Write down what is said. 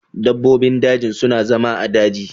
Dabbobin daji su na zama a'daji.